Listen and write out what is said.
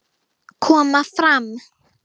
Koma fram!